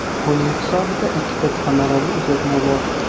Uning hisobida ikkita samarali uzatma bor.